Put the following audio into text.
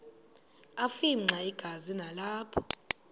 afimxa igazi nalapho